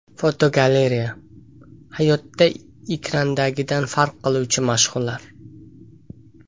Fotogalereya: Hayotda ekrandagidan farq qiluvchi mashhurlar.